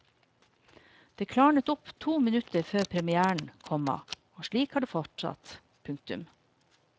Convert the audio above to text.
Det klarnet opp to minutter før premièren, komma og slik har det fortsatt. punktum